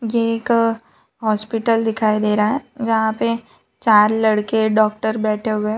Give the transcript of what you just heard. ये एक हॉस्पिटल दिखाई दे रहा हैन जहां पे चार लड़के डॉक्टर बैठे हुए हैं।